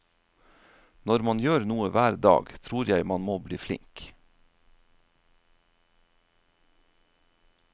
Når man gjør noe hver dag, tror jeg man må bli flink.